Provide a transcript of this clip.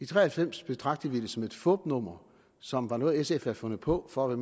tre og halvfems betragtede vi det som et fupnummer som var noget sf havde fundet på for at